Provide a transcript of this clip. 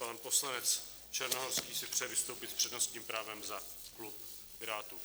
Pan poslanec Černohorský si přeje vystoupit s přednostním právem za klub Pirátů.